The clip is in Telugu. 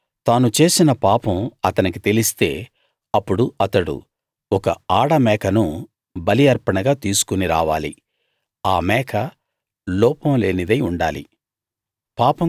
తరువాత తాను చేసిన పాపం అతనికి తెలిస్తే అప్పుడు అతడు ఒక ఆడ మేకను బలి అర్పణగా తీసుకుని రావాలి ఆ మేక లోపం లేనిదై ఉండాలి